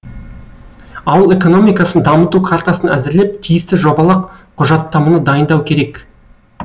ауыл экономикасын дамыту картасын әзірлеп тиісті жобалық құжаттаманы дайындау керек